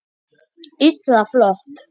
Illa flott!